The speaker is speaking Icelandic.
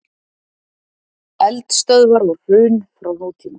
Eldstöðvar og hraun frá nútíma.